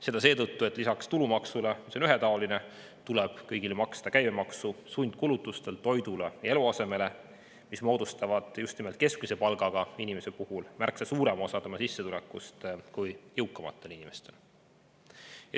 Seda seetõttu, et lisaks tulumaksule, mis on ühetaoline, tuleb kõigil maksta käibemaksu sundkulutustelt toidule ja eluasemele, mis moodustavad just nimelt keskmise palgaga inimestel sissetulekust märksa suurema osa kui jõukamatel inimestel.